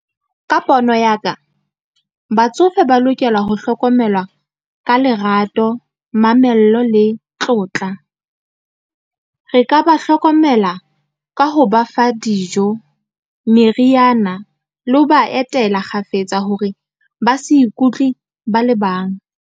Ka pono ya ka, batsofe ba lokela ho hlokomelwa ka lerato, mamello le tlotla. Re ka ba hlokomela ka ho ba fa dijo, meriana, le ho ba etela kgafetsa hore ba se ikutlwe ba le bang.